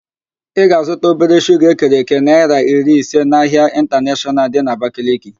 Ị ga-azụta obere shuga ekere èké naịra iri ise n'ahịa ịntaneshọnal dị n'Abakaliki